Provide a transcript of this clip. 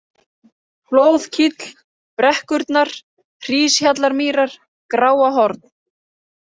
Flóðkíll, Brekkurnar, Hríshjallamýrar, Gráahorn